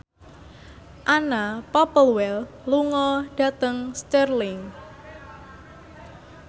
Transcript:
Anna Popplewell lunga dhateng Stirling